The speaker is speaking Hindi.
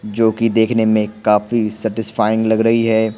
जो कि देखने में काफी सैटिस्फाइंग लग रही है।